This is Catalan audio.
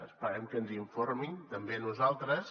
esperem que ens informin també a nosaltres